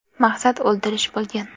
Maqsad o‘ldirish bo‘lgan.